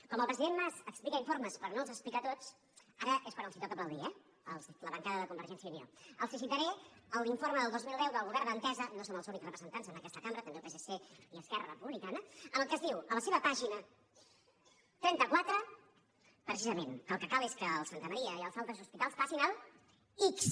com que el president mas explica informes però no els explica tots ara és quan els toca aplaudir eh la bancada de convergència i unió els citaré l’informe del dos mil deu del govern d’entesa no en som els únics representants en aquesta cambra també el psc i esquerra republicana en el qual es diu a la seva pàgina trenta quatre precisament que el que cal és que el santa maria i els altres hospitals passin a l’ics